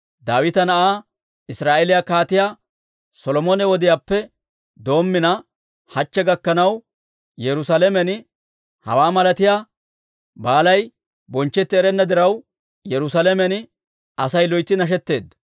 Daawita na'aa, Israa'eeliyaa Kaatiyaa Solomone wodiyaappe doommina, hachche gakkanaw, Yerusaalamen hawaa malatiyaa baali bonchchetti erenna diraw, Yerusaalamen Asay loytsi nashetteedda.